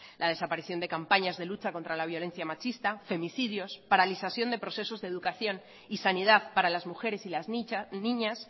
la desaparición de campañas de lucha contra la violencia machista femicidios paralización de procesos de educación y sanidad para las mujeres y las niñas